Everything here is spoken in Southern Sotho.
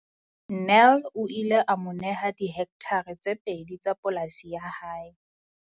Nel o ile a mo neha dihektare tse pedi tsa polasi ya hae.